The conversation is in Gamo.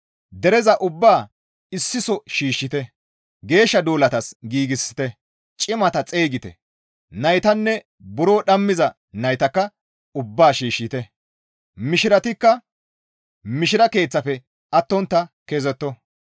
Dereza ubbaa issi soo shiishshite; geeshsha duulatas giigsite; cimata xeygite; naytanne buro dhammiza naytakka ubbaa shiishshite; mishiratikka mishira keeththafe attontta kezetto.